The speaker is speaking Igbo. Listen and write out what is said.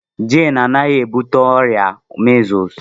Jane anaghị ebute ọrịa measles.